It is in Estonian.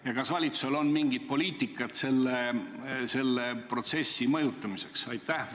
Ja kas valitsusel on mingit poliitikat selle protsessi mõjutamiseks?